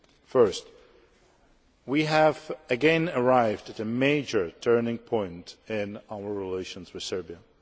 Firstly, we have once more arrived at a major turning point in our relations with Serbia.